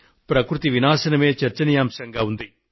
ప్రకృతి వినాశనమే చర్చనీయాంశంగా ఉంది